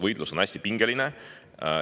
Võitlus on hästi pingeline.